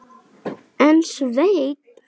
En Sveinn